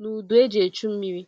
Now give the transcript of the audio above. na udú eji echu mmiri.